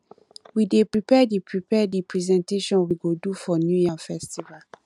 we dey prepare the prepare the presentation we go do for new yam festival